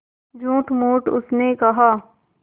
झूठमूठ उसने कहा